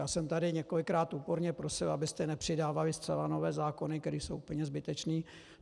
Já jsem tady několikrát úporně prosil, abyste nepřidávali zcela nové zákony, které jsou úplně zbytečné.